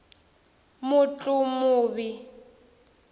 mutlumuvi